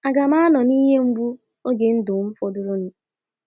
‘A ga m anọ n’ihe mgbu n’oge ndụ m fọdụrụnụ? ’